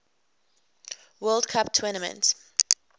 world cup tournament